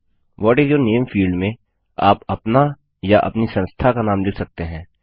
what is your name field में आप अपना या अपनी संस्था का नाम लिख सकते हैं